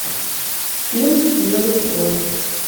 фильм белый слон